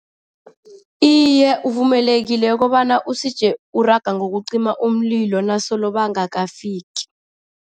Iye, uvumelekile ukobana usije uraga ngokokucima umlilo nasolo bangakafiki.